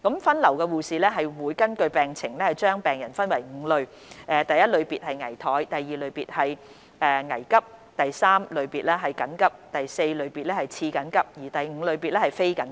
分流護士會根據病情將病人分為5類，包括第一類別、第二類別、第三類別、第四類別及第五類別。